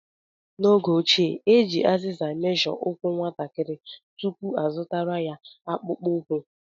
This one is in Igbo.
N'oge ochie, e ji azịza meshọ ụkwụ nwatakịrị tupu azụtara ya akpụkpọ ụkwụ.